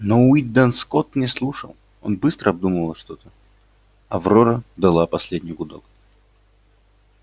но уидон скотт не слушал он быстро обдумывал что-то аврора дала последний гудок